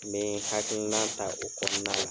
N mi hakilina ta o kɔnɔna na.